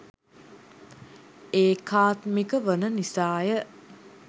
ඒකාත්මික වන නිසා ය.